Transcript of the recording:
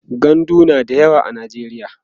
gandu na da yawa a najeriya